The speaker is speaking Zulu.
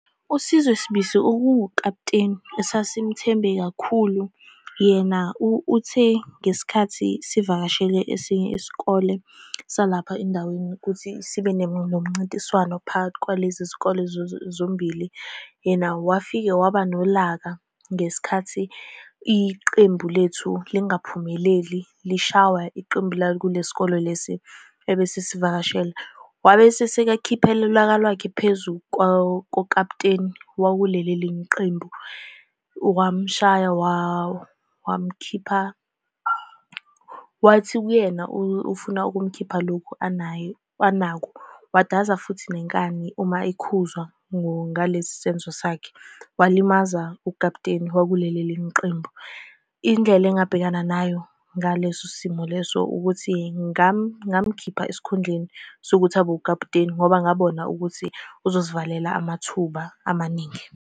USizwe Sibisi uwukaputeni esasimthembe kakhulu, yena uthe, ngesikhathi sivakashele esinye isikole salapha endaweni ukuthi sibe nomncintiswano phakathi kwalezi zikole zombili, yena wafike waba nolaka ngesikhathi iqembu lethu lingaphumeleli, lishawa iqembu lakulesi sikole lesi ebesisivakashele. Wabe esikhiphela ulaka lwakhe phezu kwakaputeni wakuleli elinye iqembu, wamshaya wawa. Wamkhipha, wathi kuyena, ufuna ukumkhipha lokhu anakho, wadaza futhi inkani. Uma ekhuzwa ngalesi senzo sakhe, walimaza ukaputeni wakuleli elinye iqembu. Indlela engabhekana nayo ngaleso simo leso ukuthi ngamukhipha esikhundleni sokuthi abe ukaputeni ngoba ngabona ukuthi uzosivalela amathuba amaningi.